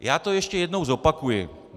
Já to ještě jednou zopakuji.